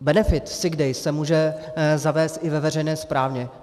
Benefit sick days se může zavést i ve veřejné správě.